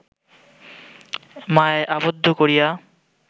মায়ায় আবদ্ধ করিয়া